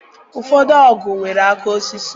Ụfọdụ ọgụ nwere aka osisi.